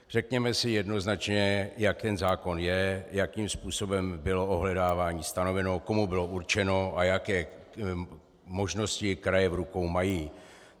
Řekněme si jednoznačně, jak ten zákon je, jakým způsobem bylo ohledávání stanoveno, komu bylo určeno a jaké možnosti kraje v rukou mají.